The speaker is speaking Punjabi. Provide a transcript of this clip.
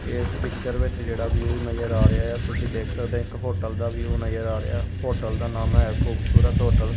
ਏਸ ਪਿਕਚਰ ਵਿੱਚ ਜੇਹੜਾ ਵਿਊ ਨਜ਼ਰ ਆ ਰਿਹਾ ਯਾ ਤੁਸੀਂ ਦੇਖ ਸਕਦੇਆ ਇੱਕ ਹੋਟਲ ਦਾ ਵਿਊ ਨਜ਼ਰ ਆ ਰਿਹਾ ਹੋਟਲ ਦਾ ਨਾਮ ਹੈ ਖੂਬਸੂਰਤ ਹੋਟਲ ।